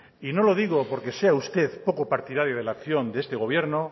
y no lo digo porque sea usted poco partidario de la acción de este gobierno